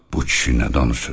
Bu kişi nə danışır?